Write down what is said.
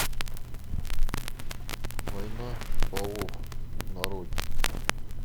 война полов нарой